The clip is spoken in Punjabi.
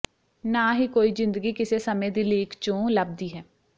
ਨਾ ਹੀ ਕੋਈ ਜ਼ਿੰਦਗੀ ਕਿਸੇ ਸਮੇਂ ਦੀ ਲੀਕ ਚੋਂ ਲੱਭਦੀ ਹੈ